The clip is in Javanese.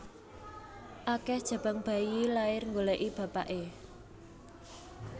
Akeh jabang bayi lahir nggoleki bapakne